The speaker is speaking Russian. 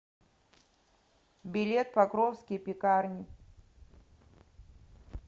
билет покровские пекарни